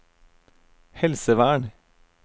helsevern